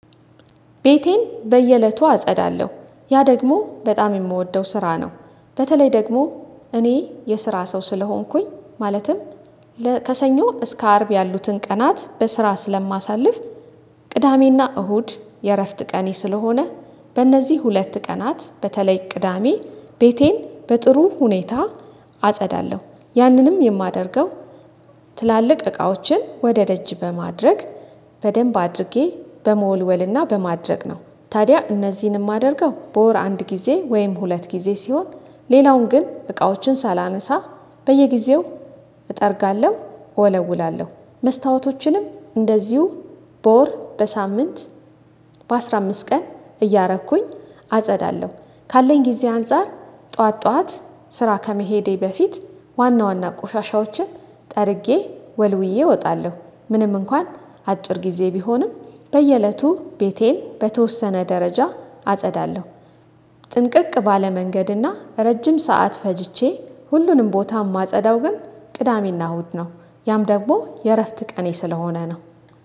ቤቴን በየእለቱ አጸዳለሁ። ያ ደግሞ በጣም የምወደው ስራ ነው። በተለይ ደግሞ እኔ የስራ ሰው ስለሆንኩኝ ማለትም ከሰኞ እስከ አርብ ያሉትን ቀናት በስራ ስለማሳልፍ ቅዳሜና እሁድ የእረፍት ቀኔ ስለሆነ በእነዚህ ሁለት ቀናት በተለይ ቅዳሜ ቤቴን በጥሩ ሁኔታ አጸዳለሁ። ያንንም የማደርገው ትላልቅ እቃዎችን ወደ ደጅ በማድረግ በደንብ አድርጌ በመወልወልና በማድረግ ነው። ታዲያ እነዚህንም የማደርገው በወር አንድ ጊዜ ወይም ሁለት ጊዜ ሲሆን ሌላውን ግን እቃዎችን ሳላነሳ በየጊዜው እጠርጋለሁ እወለውላለሁ። መስታወቶችንም እንደዚሁ ቦር በሳምንት በአስራ አምስት ቀን እያረኩኝ አጸዳለሁ። ካለኝ ጊዜ አንፃር ጠዋት ጠዋት ስራ ከመሄዴ በፊት ዋና ዋና ቆሻሻዎችን ጠርጌ ወልውዬ እወጣለሁ። ምንም እንኳን አጭር ጊዜ ቢሆንም በየእለቱ ቤቴን በተወሰነ ደረጃ አጸዳለሁ። ጥንቅቅ ባለ መንገድና ረጅም ሰዓት ፈጅቼ ሁሉንም ቦታ የማጸዳው ግን ቅዳሜና እሁድ ነው። ያም ደግሞ የእረፍት ቀኔ ስለሆነ ነው።